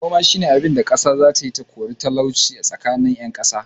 Noma shine abin kasa zatayi ta kore talauci tsakanin yan kasa